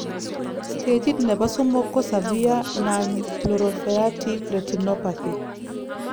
stagit nrnbo somok ko severe nonproliferative retinopathy